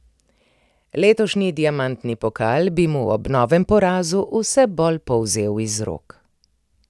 Letošnji diamantni pokal bi mu ob novem porazu vse bolj polzel iz rok.